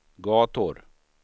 gator